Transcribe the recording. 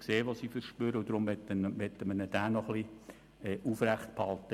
Deshalb möchten wir ihn noch etwas aufrechterhalten.